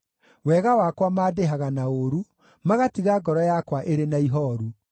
Wega wakwa mandĩhaga na ũũru, magatiga ngoro yakwa ĩrĩ na ihooru.